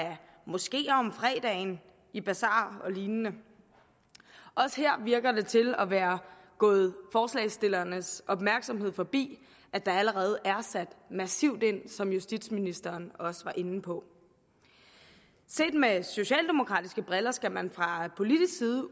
moskeer om fredagen i basarer og lignende også her virker det til at være gået forslagsstillernes opmærksomhed forbi at der allerede er sat massivt ind som justitsministeren også var inde på set med socialdemokratiske briller skal man fra politisk side